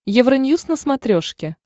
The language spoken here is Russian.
евроньюз на смотрешке